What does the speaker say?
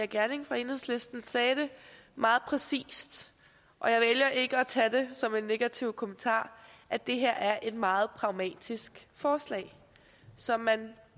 gjerding fra enhedslisten sagde det meget præcist og jeg vælger ikke at tage det som en negativ kommentar at det her er et meget pragmatisk forslag så man